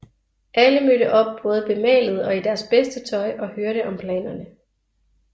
Alle mødte op både bemalet og i deres bedste tøj og hørte om planerne